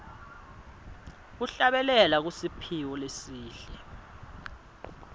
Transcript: kuhlabelela kusiphiwo lesihle